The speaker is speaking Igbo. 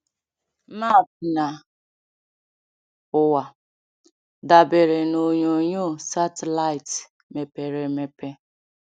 Map na ụwa: dabere na onyonyo satịlaịtị mepere emepe.